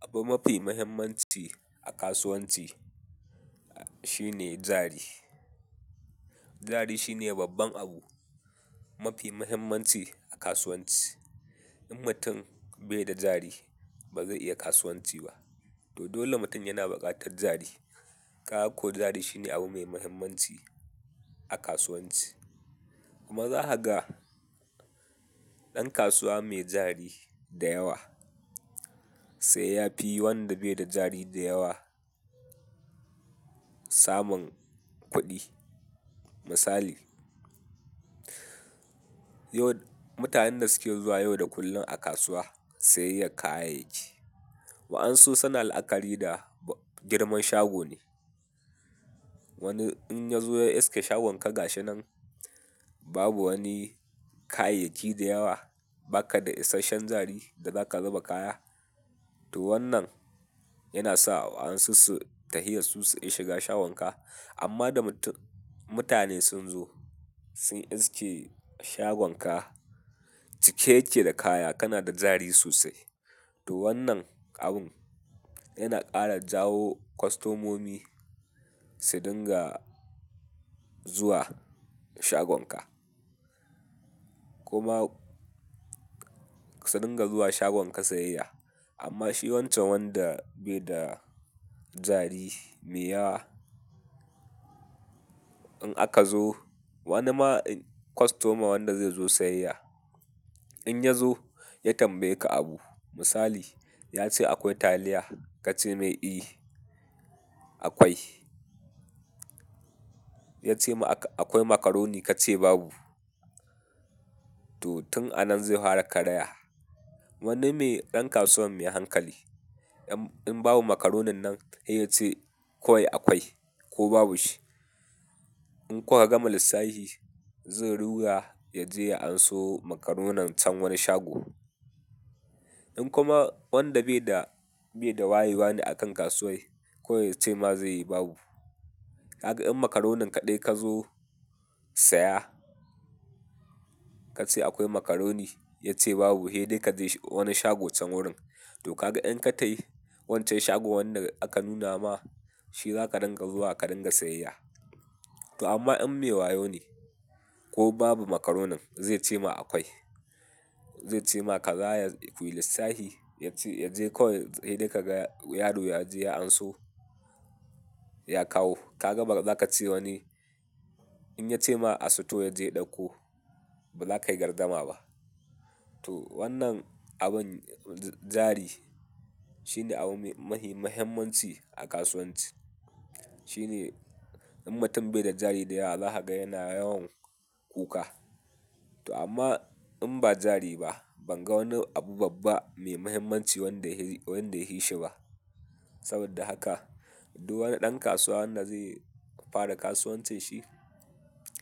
Abu mafi mahimmanci a kasuwanci shine jari. Jari shine babban abu mafi mahimmanci a kasuwanci. In mutum bai da jari, ba zai iya kasuwanci ba. To dole mutum yana buƙatar jari. Kaga ko jari shine abu mai mahimmanci a kasuwanci. Kuma za ka ga ɗan kasuwa mai jari da yawa sai ya fi wanda bai da jari da yawa samun kuɗi. Misali, yau mutanen da suke zuwa yau da kullum a kasuwa sayayya kayayyaki, wa'ansu suna la'akari da girman shago ne. Wani in ya zo ya iske shagon ka ga shi nan babu wani kayayyaki da yawa, ba ka da isashen jari da za ka zuba kaya, to wannan yana sa wa'ansu su tahiya su su ƙi shiga shagon ka. Amma da mutum-- mutane sun zo sun iske shagon ka cike yake da kaya, kana da jari sosai, to wannan abun yana ƙara jawo kwastomomi su dinga zuwa shagon ka. Kuma su dinga zuwa shagon ka sayayya. Amma shi wancan wanda bai da jari mai yawa, in aka zo wani ma kwastoma wanda zai zo sayayya, in ya zo ya tambaye ka abu, misali ya ce akwai taliya? Ka ce mai, "Eh akwai." Ya ce, "Akwai macaroni?" Ka ce babu. To tun a nan zai hwara karaya. Wani mai ɗan kasuwan mai hankali in babu macaronin nan sai ya ce, "Kowai akwai ko babu shi?" In kuka gama lisssahi zai ruga ya je ya anso macaronin can wani shago. In kuma wanda bai da, bai da wayewa ne a kan kasuwar kawai ce ma zai yi babu. Ka ga in macaronin kaɗai ka zo saya ka ce akwai makaroni ya ce babu, he dai ka je wani shago can wurin. To ka ga in ka tayi wancan shagon wanda aka nuna ma shi za ka dinga zuwa ka dinga sayayya. To amma in me wayo ne ko babu makaronin zai ce ma akwai. Zai ce ma ka tsaya kuyi lissahi ya ce, ya je kawai he dai ka ga yaro ya je ya anso ya kawo. Ka ga ba za ka ce wani in ya ce ma a sito ya je ya ɗauko ba za ka yi gardama ba. To wannan abin jari shine abu mai mahimmanci a kasuwanci. Shi ne in mutum bai da jari da yawa za ka ga yana yawan kuka. To amma in ba jari ba ban ga wani abu babba mai mahimmanci wanda ya he-- wanda ya he shi ba. Saboda haka duk wani ɗan kasuwa na zai fara kasuwancin shi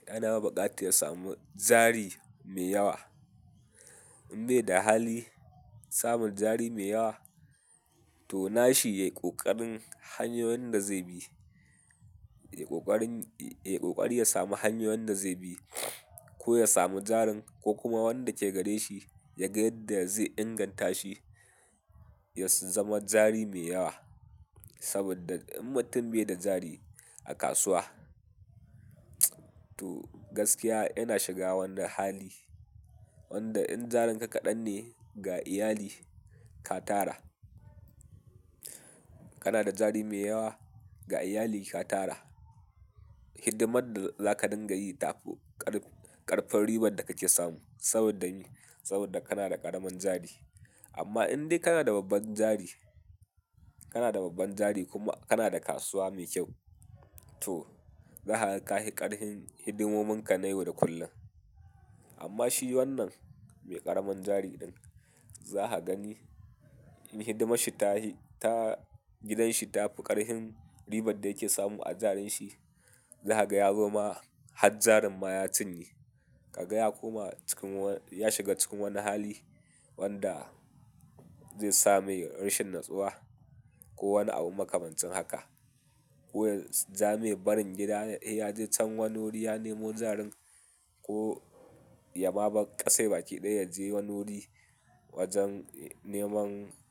yana buƙata ya samu jari mai yawa. In bai da hali samun jari mai yawa to nashi ya yi ƙoƙarin hanyoyin da zai bi. Ya yi ƙoƙarin, ya yi ƙoƙari ya sami hanyoyin da zai bi ko ya sami jarin ko kuma wanda ke gare shi ya gaya da ya zai inganta shi ya su zama jari mai yawa. Saboda in mutum bai da jari a kasuwa, to gaskiya yana shiga wani hali wanda in jarin ka kaɗan ne ga iyali ka tara. Kana da jari mai yawa ga iyali ka tara. Hidimar da za ka dinga yi ta ƙarƙ-ƙafin ribar da kake samu saboda, saboda kana da ƙaramin jari. Amma in dai kana da babban jari, kana da babban jari kuma kana da kasuwa mai kyau, to za kaga kahi ƙarhin hidimomin ka na yau da kullum. Amma shi wannan mai ƙaramin jari ɗin za ka gani in hidimashi ta hi, ta, gidan shi ta fi ƙarhin ribar da yake samu a jarin shi. Za ka ga ya zo ma har jarin ma ya cinye. Ka ga ya koma cikin wa-- ya shiga cikin wani hali wanda zai sa mai rashin natsuwa ko wani abu makamancin haka. Ko ya ja mai barin gida he ya je can wani wuri ya nemo jarin ko ya ma bar ƙasai baki ɗaya ya je wani wuri wajen neman.